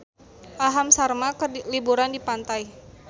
Aham Sharma keur liburan di pantai